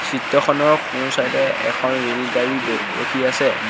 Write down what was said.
চিত্ৰখনৰ সোঁ চাইড এ এখন ৰেলগাড়ী ব ৰখি আছে।